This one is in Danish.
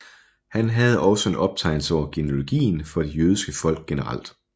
Han havde også en optegnelse over genealogien for det jødiske folk generelt